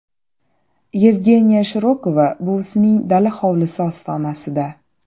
Yevgeniya Shirokova buvisining dala-hovlisi ostonasida.